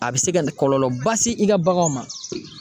A be se ka kɔlɔlɔ ba se i ka baganw ma.